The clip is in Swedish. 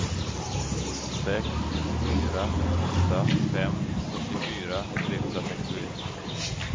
sex fyra åtta fem sjuttiofyra trehundrasextioett